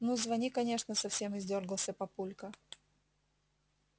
ну звони конечно совсем издёргался папулька